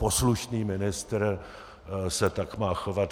Poslušný ministr se tak má chovat.